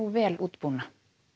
vel útbúna